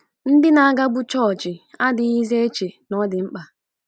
Ndị na-agabu chọọchị adịghịzi eche na ọ dị mkpa.